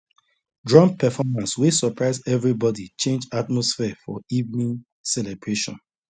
drum performance wey surprise everybody change atmosphere for evening celebration